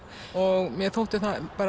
og mér þótti